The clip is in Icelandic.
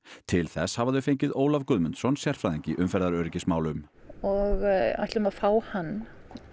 til þess hafa þau fengið Ólaf Guðmundsson sérfræðing í umferðaröryggismálum og ætlum að fá hann